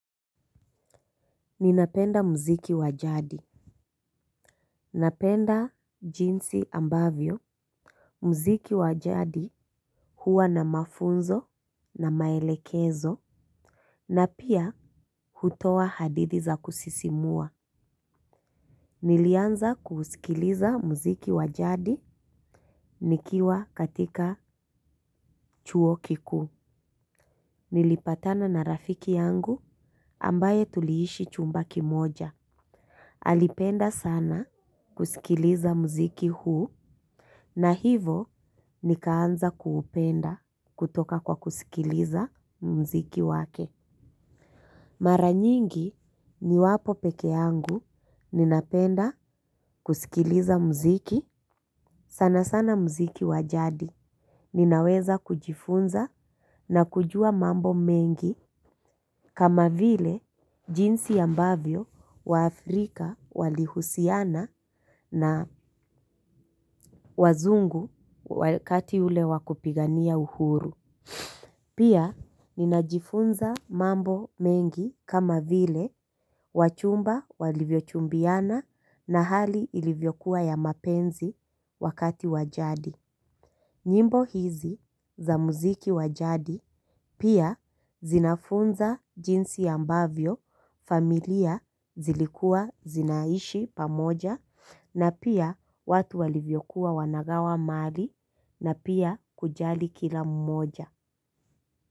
Ninapenda mziki wa jadi. Napenda jinsi ambavyo mziki wa jadi. Huwa na mafunzo na maelekezo. Na pia hutoa hadithi za kusisimua. Nilianza kusikiliza mziki wa jadi nikiwa katika chuo kikuu. Nilipatana na rafiki yangu ambaye tuliishi chumba kimoja. Alipenda sana kusikiliza mziki huu. Na hivyo nikaanza kuupenda kutoka kwa kusikiliza mziki wake. Maranyingi niwapo pekee yangu ninapenda kusikiliza mziki. Sana sana mziki wa jadi. Ninaweza kujifunza na kujua mambo mengi. Kama vile jinsi ambavyo waafrika walihusiana na wazungu wakati ule wa kupigania uhuru. Pia ninajifunza mambo mengi kama vile wachumba walivyochumbiana na hali ilivyokuwa ya mapenzi wakati wa jadi. Nyimbo hizi za muziki wa jadi pia zinafunza jinsi ambavyo, familia zilikua zinaishi pamoja na pia watu walivyokuwa wanagawa mali na pia kujali kila mmoja.